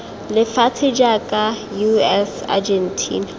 lefatshe jaaka us eu argentina